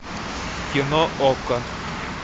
кино окко